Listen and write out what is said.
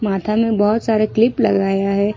माथा में बहुत सारे क्लिप लगाया है।